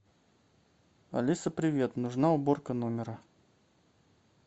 алиса привет нужна уборка номера